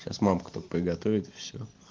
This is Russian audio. сейчас мамка тут приготовит и все